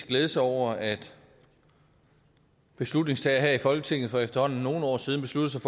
glæde sig over at beslutningstagerne her i folketinget for efterhånden nogle år siden besluttede